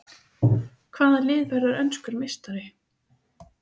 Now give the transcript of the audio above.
Hvaða lið verður enskur meistari?